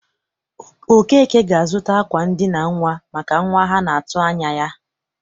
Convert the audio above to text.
Okeke ga-azụta akwa ndịna nnwa maka nwa ha na-atụ anya ya.